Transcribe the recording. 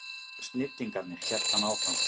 Snillingarnir, hélt hann áfram.